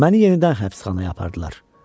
Məni yenidən həbsxanaya apardılar.